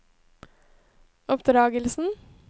oppdragelsen